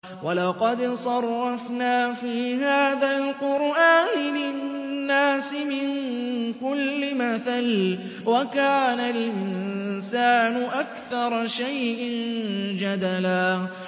وَلَقَدْ صَرَّفْنَا فِي هَٰذَا الْقُرْآنِ لِلنَّاسِ مِن كُلِّ مَثَلٍ ۚ وَكَانَ الْإِنسَانُ أَكْثَرَ شَيْءٍ جَدَلًا